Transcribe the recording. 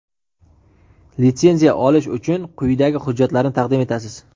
Litsenziya olish uchun quyidagi hujjatlarni taqdim etasiz:.